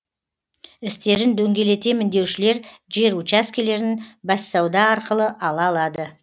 істерін дөңгелетемін деушілер жер учаскелерін бәссауда арқылы ала алады